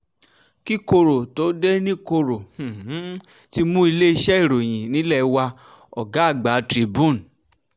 kí koro tóo dé ní koro um ti mú iléeṣẹ́ ìròyìn nílẹ̀ wá ọ̀gá um àgbà tribune